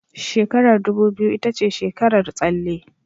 Shekarar dubu biyu ita ce shekarar tsalle